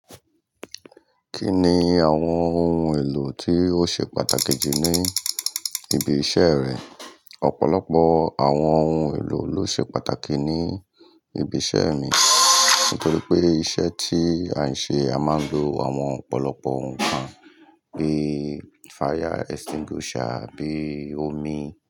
Kí ni àwọn ohun èlò tí ó ṣe pàtàkì jù ní ibi iṣẹ́ rẹ? Ọ̀pọ̀lọpọ̀ àwọn ohun èlò ló ṣe pàtàkì ní ibi iṣẹ́ mi nítorí pé iṣẹ́ tí à ń ṣe, a máa ń lo àwọn ọ̀pọ̀lọpọ̀ ohun kan bí fire extinguisher, bí omi.